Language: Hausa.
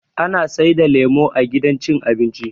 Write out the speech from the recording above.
Ana saida lemo a gidan cin abinci